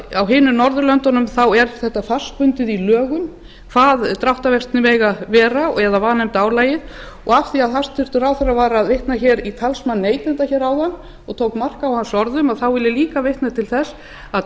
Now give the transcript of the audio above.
á hinum norðurlöndunum er þetta fastbundið í lögum hvað dráttarvextir mega vera eða vanefndaálagið og að því að hæstvirtur ráðherra var að vitna hér í talsmann neytenda hér áðan og tók mark á hans orðum þá vil ég líka vitna til þess að